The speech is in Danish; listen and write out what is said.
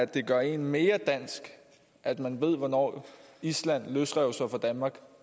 det gør en mere dansk at man ved hvornår island løsrev sig fra danmark